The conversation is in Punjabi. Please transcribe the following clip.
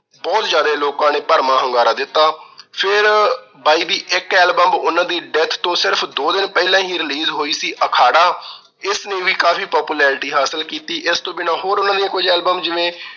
ਬਹੁਤ ਜਿਆਦਾ ਲੋਕਾਂ ਨੇ ਭਰਵਾਂ ਹੁੰਗਾਰਾ ਦਿੱਤਾ। ਫਿਰ ਬਾਈ ਦੀ ਇੱਕ album ਉਹਨਾਂ ਦੀ death ਤੋਂ ਸਿਰਫ ਦੋ ਦਿਨ ਪਹਿਲਾਂ ਹੀ release ਹੋਈ ਸੀ ਅਖਾੜਾ। ਇਸ ਨੇ ਵੀ ਕਾਫੀ popularity ਹਾਸਲ ਕੀਤੀ। ਇਸ ਤੋਂ ਬਿਨਾਂ ਹੋਰ ਉਹਨਾਂ ਦੀ ਕੁਝ album ਜਿਵੇਂ